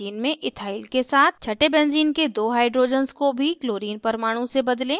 छटे benzene के दो hydrogens को भी chlorine परमाणु से बदलें